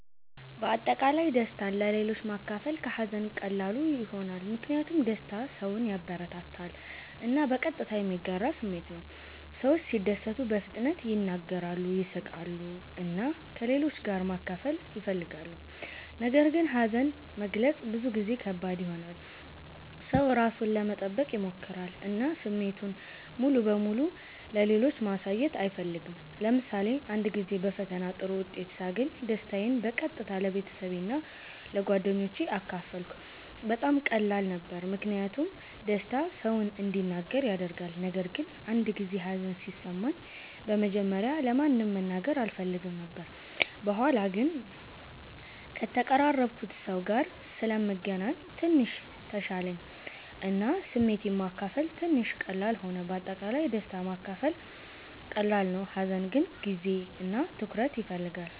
በአጠቃላይ ደስታን ለሌሎች ማካፈል ከሀዘን ቀላሉ ይሆናል። ምክንያቱም ደስታ ሰውን ያበረታታል እና በቀጥታ የሚጋራ ስሜት ነው። ሰዎች ሲደሰቱ በፍጥነት ይናገራሉ፣ ይስቃሉ እና ከሌሎች ጋር ማካፈል ይፈልጋሉ። ነገር ግን ሀዘን መግለጽ ብዙ ጊዜ ከባድ ይሆናል። ሰው ራሱን ለመጠበቅ ይሞክራል እና ስሜቱን ሙሉ በሙሉ ለሌሎች ማሳየት አይፈልግም። ለምሳሌ አንድ ጊዜ በፈተና ጥሩ ውጤት ሳገኝ ደስታዬን በቀጥታ ለቤተሰቤ እና ለጓደኞቼ አካፈልኩ። በጣም ቀላል ነበር ምክንያቱም ደስታ ሰውን እንዲናገር ያደርጋል። ነገር ግን አንድ ጊዜ ሀዘን ሲሰማኝ በመጀመሪያ ለማንም መናገር አልፈልግም ነበር። በኋላ ግን ከተቀራረብኩት ሰው ጋር ስለምገናኝ ትንሽ ተሻለኝ እና ስሜቴን ማካፈል ትንሽ ቀላል ሆነ። በአጠቃላይ ደስታ ማካፈል ቀላል ነው፣ ሀዘን ግን ጊዜ እና ትኩረት ይፈልጋል።